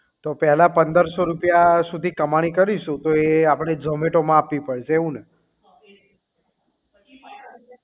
તો પહેલા પંદર સો રૂપિયા માંથી કમાણી કરીશું તો એ આપડે zomato માં આપવી પડશે એવું ને